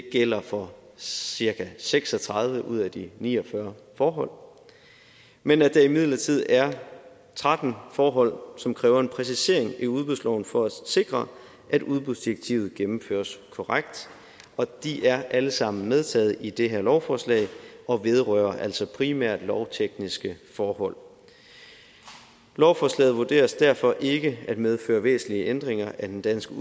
gælder for cirka seks og tredive ud af de ni og fyrre forhold men at der imidlertid er tretten forhold som kræver en præcisering i udbudsloven for at sikre at udbudsdirektivet gennemføres korrekt og de er alle sammen medtaget i det her lovforslag og vedrører altså primært lovtekniske forhold lovforslaget vurderes derfor ikke at medføre væsentlige ændringer af den danske